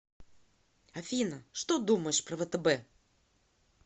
афина что думаешь про втб